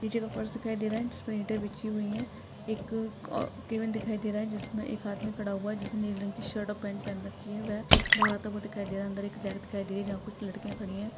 नीचे का फर्श दिखाई दे रहा है जिसपे इटे बिछी हुई है एक अ-केबिन दिखाई दे रहा है जिसमे एक आदमी खड़ा हुआ है जिसने नीले की शर्ट और पैंट पहन रखी है वह बाहर आते हुए दिखाई दे रहा है अंदर एक दिखाई दे रही है जहाँ कुछ लड़कियाँ खडी है।